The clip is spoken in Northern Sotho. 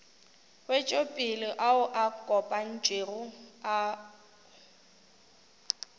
wetšopele ao a kopantšwego ao